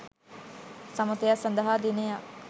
සමථයක් සඳහා දිනයක්